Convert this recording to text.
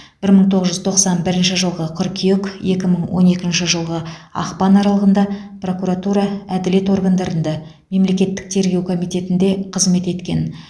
бір мың тоғыз жүз тоқсан бірінші жылғы қыркүйек екі мың он екінші жылғы ақпан аралығында прокуратура әділет органдарында мемлекеттік тергеу комитетінде қызмет еткен